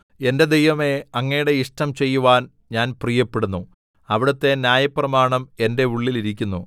എന്റെ ദൈവമേ അങ്ങയുടെ ഇഷ്ടം ചെയ്യുവാൻ ഞാൻ പ്രിയപ്പെടുന്നു അവിടുത്തെ ന്യായപ്രമാണം എന്റെ ഉള്ളിൽ ഇരിക്കുന്നു